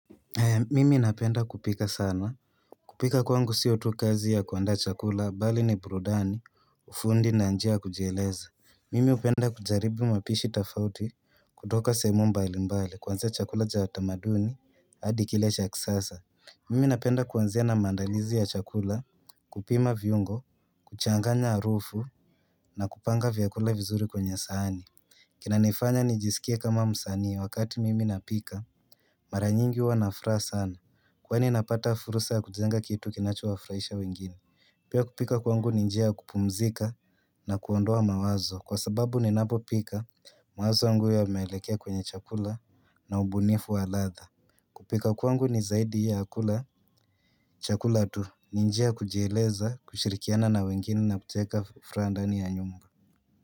Mimi napenda kupika sana. Kupika kwangu sio tu kazi ya kuandaa chakula bali ni burudani, ufundi na njia ya kujieleza. Mimi hupenda kujaribu mapishi tofauti kutoka sehemu mbalimbali. Kuanzia chakula cha utamaduni hadi kile cha kisasa Mimi napenda kuanzia na maandalizi ya chakula. Kupima viungo, kuchanganya harufu na kupanga vyakula vizuri kwenye sahani kinanifanya nijisikie kama msanii wakati mimi napika. Mara nyingi huwa na furaha sana kwani napata fursa ya kujenga kitu kinachowafurahisha wengine. Pia kupika kwangu ni njia ya kupumzika na kuondoa mawazo kwa sababu ninapopika, mawazo yangu yameelekea kwenye chakula na ubunifu wa ladha. Kupika kwangu ni zaidi ya kula chakula tu. Ni njia ya kujieleza, kushirikiana na wengine na kucheka furaha ndani ya nyumba.